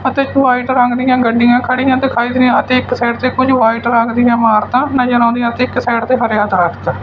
ਅਤੇ ਵਾਇਟ ਰੰਗ ਦੀਆਂ ਗੱਡੀਆਂ ਖੜੀਆਂ ਤੇ ਦਿਖਾਈ ਦੀਆਂ ਅਤੇ ਇੱਕ ਸਾਈਡ ਤੇ ਕੁਝ ਵਾਈਟ ਰੰਗ ਇਮਾਰਤਾ ਨਜ਼ਰ ਆਉਂਦੀਆਂ ਤੇ ਇੱਕ ਸਾਈਡ ਤੇ ਹਰਿਆ ਦਰਖਤ।